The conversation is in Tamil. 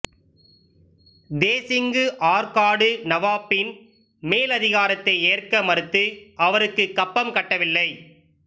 தேசிங்கு ஆற்காடு நவாபின் மேலதிகாரத்தை ஏற்க மறுத்து அவருக்குக் கப்பம் கட்டவில்லை